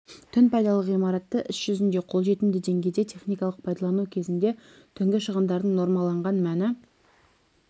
түн пайдалы ғимаратты іс жүзінде қолжетімді деңгейде техникалық пайдалану кезінде түнгі шығындардың нормаланған мәні